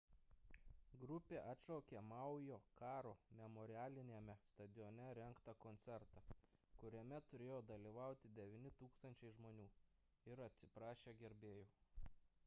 grupė atšaukė maujo karo memorialiniame stadione rengtą koncertą kuriame turėjo dalyvauti 9 000 žmonių ir atsiprašė gerbėjų